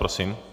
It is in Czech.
Prosím.